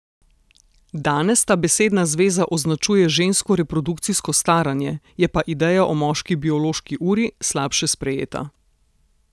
Danes ta besedna zveza označuje žensko reprodukcijsko staranje, je pa ideja o moški biološki uri slabše sprejeta.